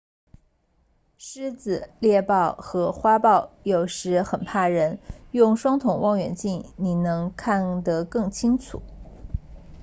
狮子猎豹和花豹有时很怕人用双筒望远镜你能看得更清楚